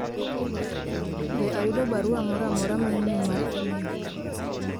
be ayudo barua moro amora manyien mar email